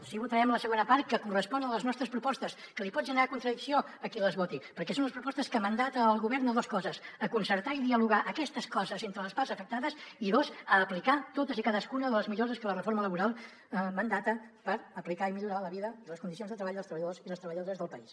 sí que votarem la segona part que correspon a les nostres propostes que li pot generar contradicció a qui les voti perquè són les propostes que mandata el govern a dos coses a concertar i dialogar aquestes coses entre les parts afectades i dos a aplicar totes i cadascuna de les millores que la reforma laboral mandata per aplicar i millorar la vida i les condicions de treball dels treballadors i les treballadores del país